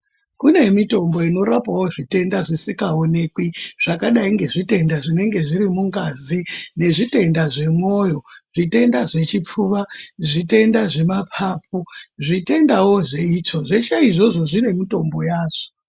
Kune mitombo inorapawo zvitenda zvisikaonekwi zvakadai ngezvitenda zvinenge zviri mungazi, nezvitenda zvemwoyo, zvitenda zvechipfuwa, zvitenda zvemaphaphu, zvitendawo zveitsvo zvese izvozvo zvine mitombo yazvo.